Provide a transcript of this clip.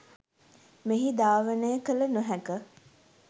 මෙහි ධාවනය කළ නොහැක.